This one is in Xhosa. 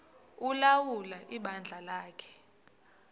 ulawula ibandla lakhe